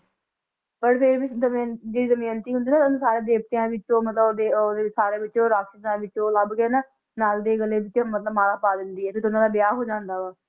ਪਰ ਫੇਰ ਵੀ ਦਮਿਅੰਤੀ ਜਿਹੜੀ ਦਮਿਅੰਤੀ ਹੁੰਦੀ ਨਾ ਉਹਨੂੰ ਸਾਰੇ ਦੇਵਤਿਆਂ ਵਿੱਚੋ ਮਤਲਬ ਉਹ ਉਹਦੇ ਸਾਰੇ ਵਿੱਚੋ ਰਾਕਸ਼ਸਾਂ ਵਿੱਚੋ ਲੱਭਕੇ ਨਾ ਨਲ ਦੇ ਗਲੇ ਵਿੱਚ ਮਤਲਬ ਮਾਲਾ ਪਾ ਦਿੰਦੀ ਏ ਫੇਰ ਦੋਨਾਂ ਦਾ ਵਿਆਹ ਹੋ ਜਾਂਦਾ ਆ